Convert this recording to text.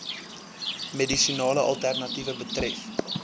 medisinale alternatiewe betref